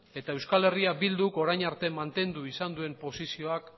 eta euskal herria bilduk orain arte mantendu izan duen posizioak